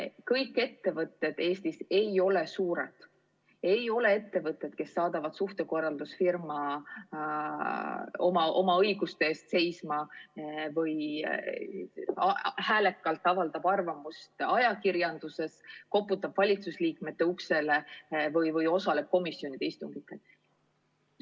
Kõik ettevõtted Eestis ei ole suured, ei ole ettevõtted, kes saadavad suhtekorraldusfirma oma õiguste eest seisma või häälekalt avaldavad arvamust ajakirjanduses, koputavad valitsuse liikmete uksele või osalevad komisjonide istungitel.